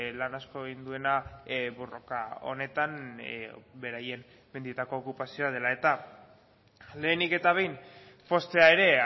lan asko egin duena borroka honetan beraien mendietako okupazioa dela eta lehenik eta behin poztea ere